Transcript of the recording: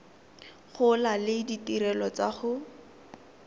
gola le ditirelo tsa go